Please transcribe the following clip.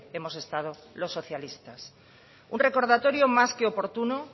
hemos estado los socialistas un recordatorio más que oportuno